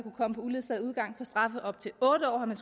komme på uledsaget udgang for straffe op til otte år har man